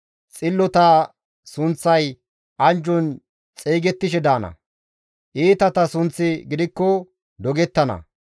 Xillota sunththay anjjon xeygettishe daana; iitata sunththi gidikko dogettana.